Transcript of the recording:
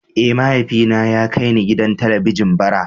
Eh, mahaifina ya kai ni gidan Talabijin bara.